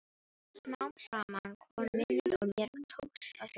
Smám saman kom minnið og mér tókst að hringja.